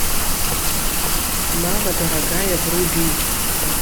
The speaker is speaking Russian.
мама дорогая вруби